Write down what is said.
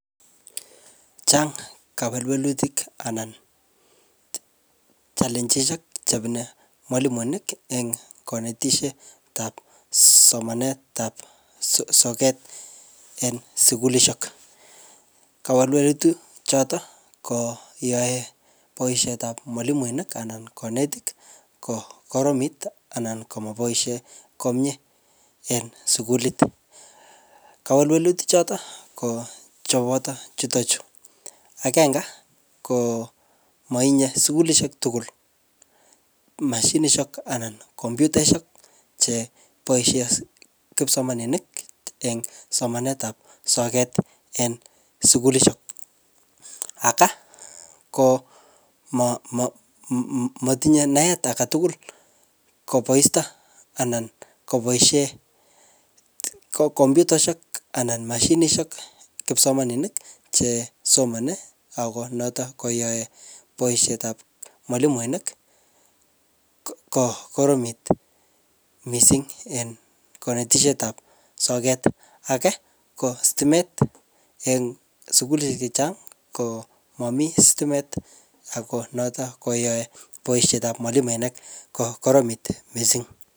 Chang kowelwelutik ana challenges chebune mwalimuinik en konetishetab somanetab sokat en sukulishek choton kowelwelutik choton koyoe boishetab mwalimuinik ana kinetin kikoromit anan komoboishe komie en sukulit. Kowelwelutik choton kocheboto chuton chuu agenge ko motinye sukulishek tukul moshinishek ana komputishek cheboishen kipsomaninik en somanetab sokat en sukulishek aka ko moi motinye naet agetutuk koboisto anan koboishen ko komputaishek ana moshinishek kipsomaninik chesomoni ak noton koyoe boishetab mwalimuinik ko Koromitu missing en konetishetab sokat age ko stimet en sukulishek chechang ko momii stimet ako noton koyoe boishetab mwalimuinik ko Koromitu missing.